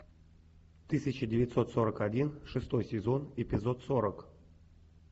тысяча девятьсот сорок один шестой сезон эпизод сорок